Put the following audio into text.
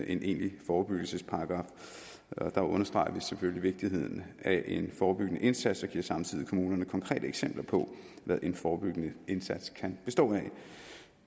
en egentlig forebyggelsesparagraf der understreger vi vigtigheden af en forebyggende indsats og giver samtidig kommunerne konkrete eksempler på hvad en forebyggende indsats kan bestå af